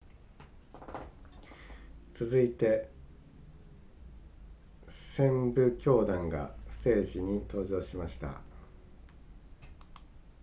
続いて旋舞教団がステージに登場しました